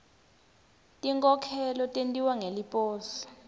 tinkhokhelo tentiwa ngeliposi